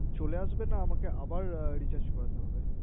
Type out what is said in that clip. চলে আসবে না আমাকে Recharge করাতে হবে